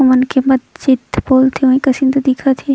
ओ मनखे मत चित बोल कसेन तो दिखत हे।